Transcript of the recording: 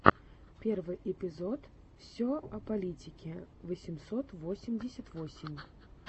первый эпизод все о политике восемьсот восемьдесят восемь